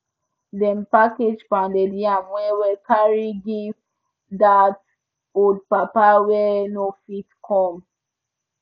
dem package pounded yam well well carry give dat old papa wey no fit come